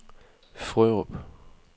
Frørup